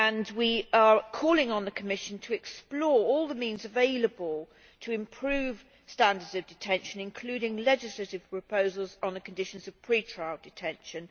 We are calling on the Commission to explore all the means available to improve standards of detention, including legislative proposals on the conditions of pre trial detention.